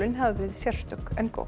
hafi verið sérstök en góð